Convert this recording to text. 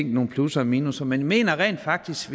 nogle plusser og minusser men jeg mener rent faktisk